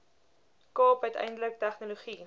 kaap uiteindelik tegnologie